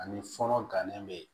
Ani fɔlɔ gannen bɛ